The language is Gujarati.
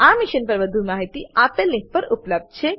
આ મિશન પર વધુ માહિતી આપેલ લીંક પર ઉપલબ્ધ છે